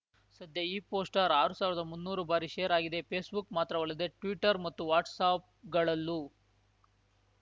ಸದ್ಯ ಈ ಪೋಸ್ಟರ್ ಆರ್ ಸಾವಿರ್ದಾಮುನ್ನೂರು ಬಾರಿ ಶೇರ್‌ ಆಗಿದೆ ಫೇಸ್‌ಬುಕ್‌ ಮಾತ್ರವಲ್ಲದೆ ಟ್ವೀಟರ್‌ ಮತ್ತು ವಾಟ್ಸ್‌ಆ್ಯಪ್‌ಗಳಲ್ಲೂ